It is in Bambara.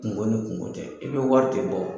Kungo ni kungo tɛ, i bɛ wari de bɔ